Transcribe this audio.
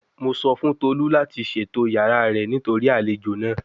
Mo sọ fun Tolu lati ṣeto yara rẹ nitori alejo naa